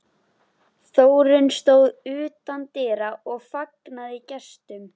Þórunn stóð utan dyra og fagnaði gestum.